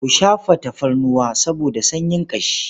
Ku shafa tafarnuwa saboda sanyin ƙashi.